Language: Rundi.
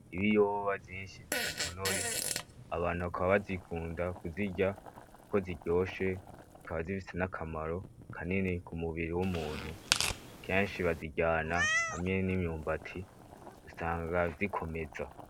Ibiyoba vyinshi bidatonoye, abantu bakaba bazikunda kuzirya kuko ziryoshe, zikaba zifise n'akamaro kanini ku mubiri w'umuntu. Kenshi baziryana hamwe n'imyumbati, usanga bikomeza.